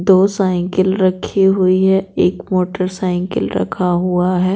दो साइकिल रखी हुई है एक मोटरसाइकिल रखा हुआ है।